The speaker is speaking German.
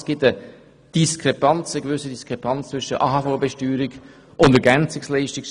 Es gibt eine gewisse Diskrepanz zwischen der AHV-Besteuerung und der Besteuerung von Ergänzungsleistungen.